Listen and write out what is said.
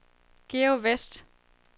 Georg Westh